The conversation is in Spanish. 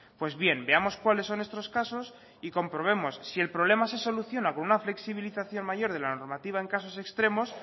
pues bien veamos cuáles son estos casos y comprobemos si el problema se soluciona con una flexibilización mayor de la normativa en casos extremos